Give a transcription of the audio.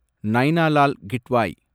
Naina Lal Kidwai